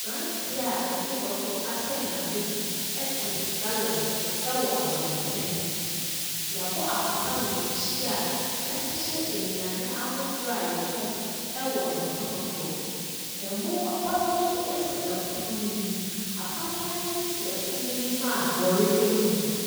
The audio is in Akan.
Aberanteɛ a ɔde bɔtɔ asɛn n'abati te gallon so wɔ abɔnten. Wɔabɔ apata wɔ n'akyi a wɔahyehyɛ nnuane ahodoɔ a wɔtɔn wɔ pono so. Ɛmo bɔtɔ nso si pono no anim. Apampan nso si pono no anim a mmɔre gum.